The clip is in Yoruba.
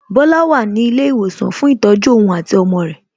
Bola wà ní ilé ìwòsàn fún ìtọ́jú ohun àti ọmọ rẹ̀